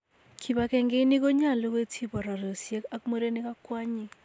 Kipagenge ini konyolu koityi bororyosyek ak murenik ak kwonyik.